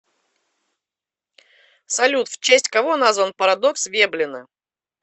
салют в честь кого назван парадокс веблена